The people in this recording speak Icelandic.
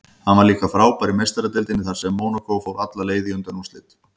Hann var líka frábær í Meistaradeildinni þar sem Mónakó fór alla leið í undanúrslit.